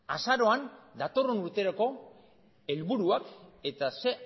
azaroan datorren urterako helburuak eta ze